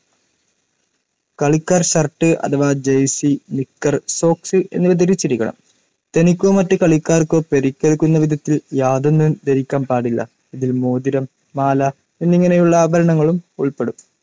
കളിക്കാർ ഷർട്ട്‌ അഥവാ jersey, knicker, socks എന്നിവ ധരിച്ചിരിക്കണം. തനിക്കോ മറ്റു കളിക്കാർക്കോ പരിക്കേൽക്കുന്ന വിധത്തിൽ യാതൊന്നും ധരിക്കാൻ പാടില്ല. ഇതിൽ മോതിരം മാല എന്നിങ്ങനെയുള്ള ആഭരണങ്ങളും ഉൾപ്പെടും